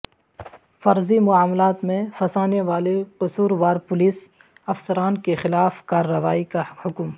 فرضی معاملات میں پھنسانے والے قصور وار پولیس افسران کے خلاف کارروائی کا حکم